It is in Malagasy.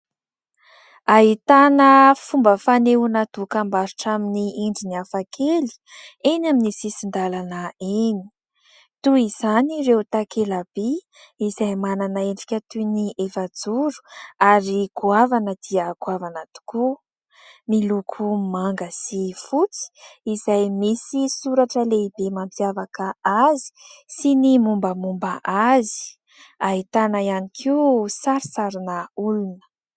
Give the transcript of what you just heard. Ahitana fomba fanehoana dokambarotra amin'ny endriny hafakely eny amin'ny sisin-dalana eny. Toy izany ireo takela-by izay manana endrika toy ny efajoro ary goavana dia goavana tokoa, miloko manga sy fotsy ; izay misy soratra lehibe mampiavaka azy sy ny mombamomba azy ; ahitana ihany koa sarisarina olona.